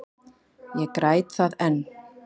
Ég græt það enn.